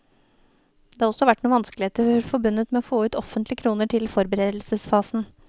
Det har også vært noen vanskeligheter forbundet med å få ut offentlige kroner til forberedelsesfasen.